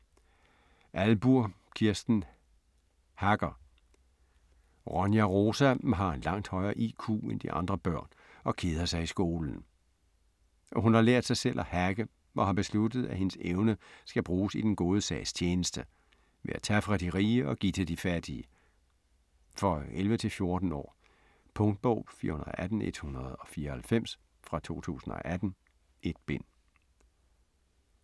Ahlburg, Kirsten: Hacker Ronja Rosa har en langt højere IQ end de andre børn, og keder sig i skolen. Hun har lært sig selv at hacke, og har besluttet at hendes evne skal bruges i den gode sags tjeneste; ved at tage fra de rige og give til de fattige. For 11-14 år. Punktbog 418194 2018. 1 bind.